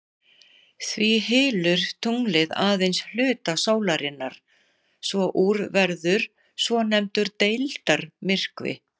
Því hylur tunglið aðeins hluta sólarinnar svo úr verður svonefndur deildarmyrkvi.